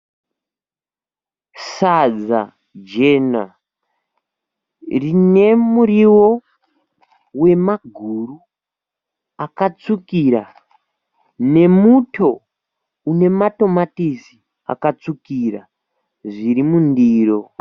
Sadza jena rine muriwo wemaguru akatsvukira nemuto une matomatisi akatsvukira zviri mundiro.